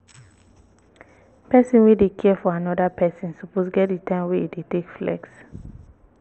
person wey dey care for anoda person suppose get di time wey im dey take flex